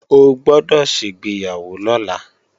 O gbọ́dọ̀ ṣègbéyàwó lọ́la!